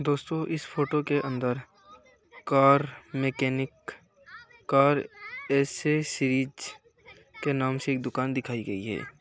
दोस्तो इस फोटो के अंदर कार मेकेनिक कार एसेसरीज के नाम से एक दुकान दिखाई गई है।